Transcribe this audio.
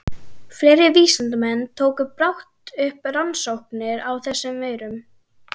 Fleiri vísindamenn tóku brátt upp rannsóknir á þessum veirum.